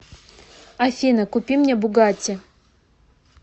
афина купи мне бугатти